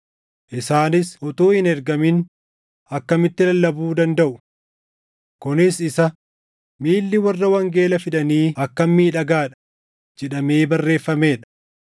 Isaanis utuu hin ergamin akkamitti lallabuu dandaʼu? Kunis isa, “Miilli warra wangeela fidanii akkam miidhagaa dha!” + 10:15 \+xt Isa 52:7\+xt* jedhamee barreeffamee dha.